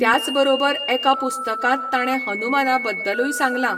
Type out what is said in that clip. त्याच बरोबर एका पुस्तकांत ताणें हनुमाना बद्दलूय सांगलां.